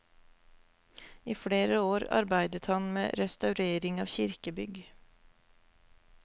I flere år arbeidet han med restaurering av kirkebygg.